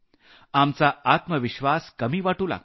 आपला आत्मविश्वास कमी वाटू लागतो